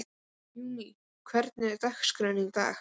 Júní, hvernig er dagskráin í dag?